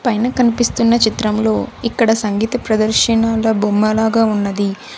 పైన కనిపిస్తున్న చిత్రంలో ఇక్కడ సంగీత ప్రదర్శనాల బొమ్మలాగా ఉన్నది.